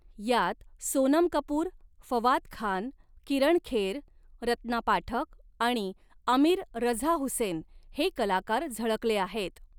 यात सोनम कपूर, फवाद खान, किरण खेर, रत्ना पाठक आणि आमिर रझा हुसेन हे कलाकार झळकले आहेत.